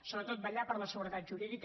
sobretot vetllar per la seguretat jurídica